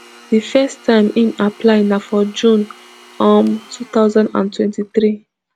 di first time im apply na for june um two thousand and twenty-three